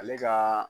Ale ka